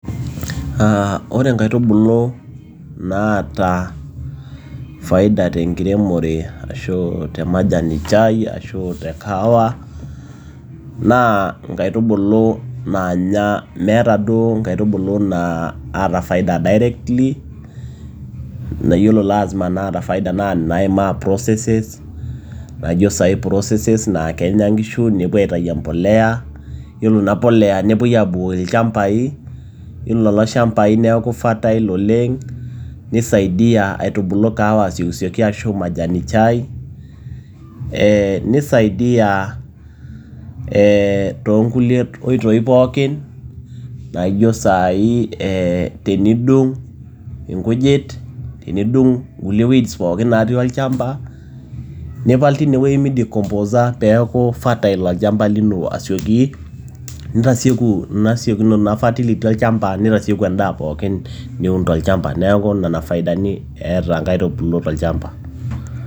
Ore inkaitubulu naata faida tenkiremore ashu, te majani chai ashu te kahawa naa inkaitubulu naata, naa meata faida directly, ore naata faida naa nai maa processes, naijo sai processes naa kenya inkishu nepuo aitayu impolea naa iyiolo naa impolea nepuoi abukoki ilchambai, iyiolo nlelo shambai neaku fertile oleng', neisaidia aitubulu kahawa oleng' ashu majani chai, neisaidia too inkoitoi pooki naijo saai tenidung' inkijit tinidung inkulie weeds pooki natii olchamba nipal, teineweji meidicomposer peaku fertile olchamba lino asioki nitasieki ina fertility olchamba neitasieku endaa pookin niun to ichamba neaku ina faida eata inena aitubulu tolchambat.